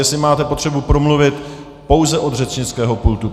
Jestli máte potřebu promluvit, pouze od řečnického pultu.